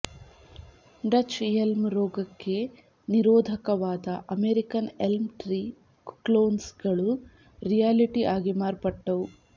Dutch elm ರೋಗಕ್ಕೆ ನಿರೋಧಕವಾದ American elm tree ಕ್ಲೋನ್ಸ್ಗಳು ರಿಯಾಲಿಟಿ ಆಗಿ ಮಾರ್ಪಟ್ಟವು